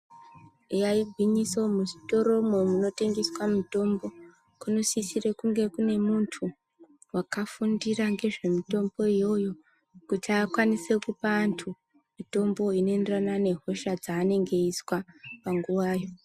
Eyaa igwinyiso muzvitoro umwo munotengeswe mutombo kunosisire kunge kune muntu wakafundira ngezvemitombo iyoyo kuti akwankse kupa antu mitombk yaanenge eizwa panguva yoo.